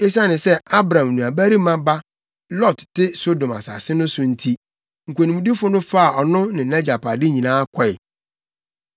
Esiane sɛ na Abram nuabarima ba Lot te Sodom asase so no nti, nkonimdifo no faa ɔno ne nʼagyapade nyinaa kɔe.